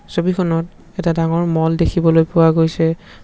ছবিখনত এটা ডাঙৰ ম'ল দেখিবলৈ পোৱা গৈছে।